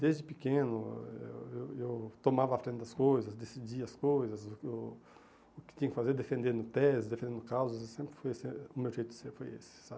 Desde pequeno eu eu eu tomava a frente das coisas, decidia as coisas, o o que tinha que fazer, defendendo tese, defendendo causas, sempre foi esse o meu jeito de ser, foi esse, sabe?